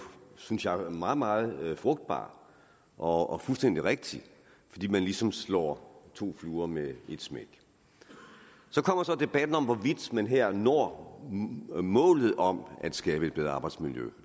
synes jeg meget meget frugtbar og fuldstændig rigtig fordi man ligesom slår to fluer med et smæk så kommer debatten om hvorvidt man her når målet om at skabe et bedre arbejdsmiljø